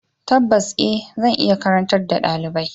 Tabbas e! Zan iya karantar da ɗalibai.